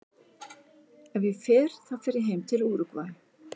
Ef ég fer þá fer ég heim til Úrúgvæ.